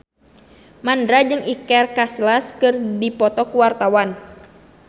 Mandra jeung Iker Casillas keur dipoto ku wartawan